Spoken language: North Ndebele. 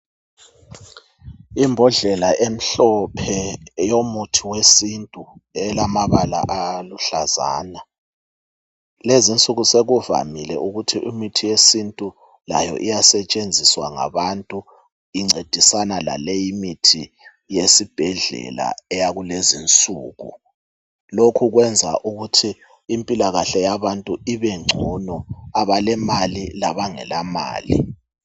Imbodlela emhlophe yomuntu wesintu, elamabala aluhlazana. Lezinsuku sekuvamile ukuthi imithi yesintu layo iyasetshenziswa ngabantu incedisana laleyi imithi yesibhedlela eyakulezinsuku. Lokhu kwenza ukuthi impilakahle yabantu ibengcono, abalemali labangelamali.